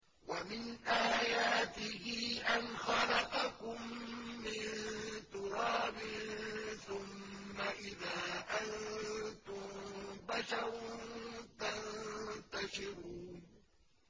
وَمِنْ آيَاتِهِ أَنْ خَلَقَكُم مِّن تُرَابٍ ثُمَّ إِذَا أَنتُم بَشَرٌ تَنتَشِرُونَ